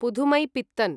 Pudhumaipithan